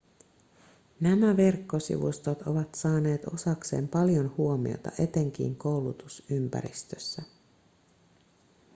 nämä verkkosivustot ovat saaneet osakseen paljon huomiota etenkin koulutusympäristössä